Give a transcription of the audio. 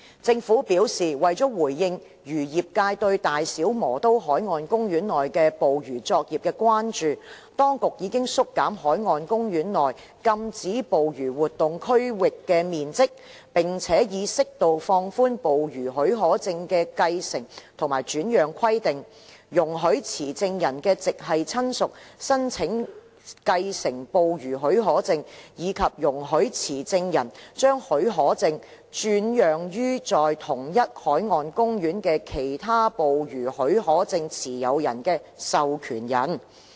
政府表示，為回應漁業界對大小磨刀海岸公園內捕魚作業的關注，當局已縮減該海岸公園內禁止捕魚活動區域的面積，並且已適度放寬捕魚許可證的繼承和轉讓規定，容許持證人的直系親屬申請繼承捕魚許可證，以及容許持證人將許可證轉讓予在同一海岸公園的其他捕魚許可證持有人的授權人。